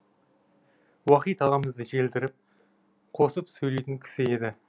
уахит ағамыз желдіріп қосып сөйлейтін кісі еді